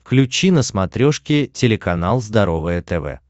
включи на смотрешке телеканал здоровое тв